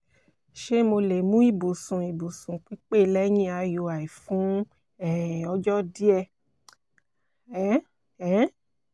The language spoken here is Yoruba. ṣe mo le mu ibusun ibusun pipe lẹhin iui fun um ọjọ diẹ diẹ? um um